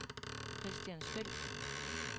Christiansfeld